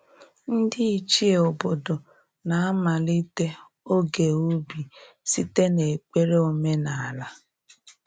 Ndị Ichie obodo na-amalite oge ubi site n’ekpere omenala.